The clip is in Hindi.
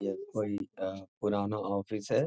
यह कोई अ पुराना ऑफिस है।